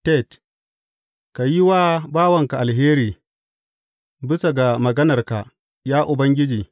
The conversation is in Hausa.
Tet Ka yi wa bawanka alheri bisa ga maganarka, ya Ubangiji.